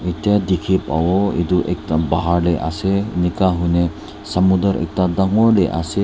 Etya dekhe bahbo etu ek da bhar de ase enaka hoi kena samuder ek da dangor de ase.